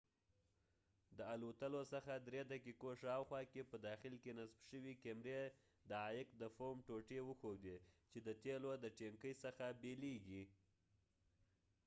د الوتلو څخه درې دقیقو شاوخوا کې په داخل کې نصب شوې کیمرې د عایق د فوم ټوټې وښودې چې د تیلو د ټینکۍ څخه بیلیږي